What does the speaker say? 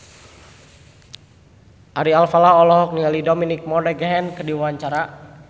Ari Alfalah olohok ningali Dominic Monaghan keur diwawancara